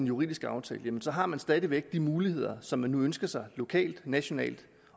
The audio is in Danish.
politisk aftale har man stadig væk de muligheder som man nu ønsker sig lokalt nationalt